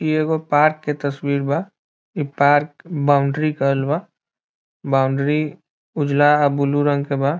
इ एगो पार्क के तस्वीर बा | इ पार्क बाउंडरी कइल बा | बाउंडरी उजाला अ ब्लू रंग के बा |